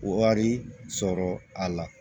Wari sɔrɔ a la